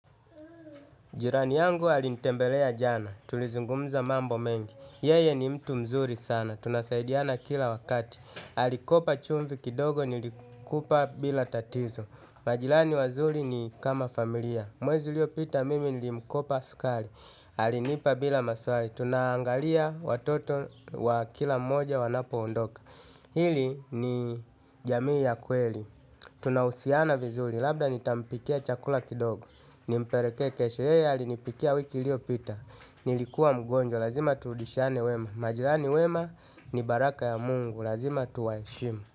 Jirani yangu alinitembelea jana. Tulizungumza mambo mengi. Yeye ni mtu mzuri sana. Tunasaidiana kila wakati. Alikopa chumvi kidogo nilikupa bila tatizo. Majirani wazuri ni kama familia. Mwezi uliopita mimi nilikopa sukari. Alinipa bila maswali. Tunaangalia watoto wa kila mmoja wanapoondoka. Hili ni jamii ya kweli. Tunahusiana vizuri. Labda nitampikia chakula kidogo. Nimpelekee kesho, yeye alinipikia wiki iliyopita. Nilikuwa mgonjwa, lazima turudishane wema. Majirani wema ni baraka ya mungu, lazima tuwaheshimu.